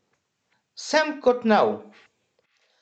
Sem kot nov.